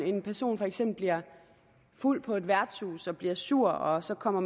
en person for eksempel bliver fuld på et værtshus og bliver sur og så kommer